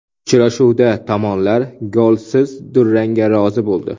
Uchrashuvda tomonlar golsiz durangga rozi bo‘ldi.